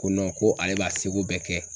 Ko ko ale b'a seko bɛɛ kɛ.